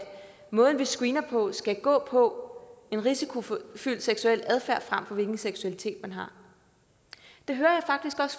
måden vi screener på skal gå på en risikofyldt seksuel adfærd frem for hvilken seksualitet man har det hører